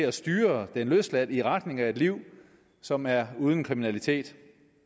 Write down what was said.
at styre den løsladte i retning af et liv som er uden kriminalitet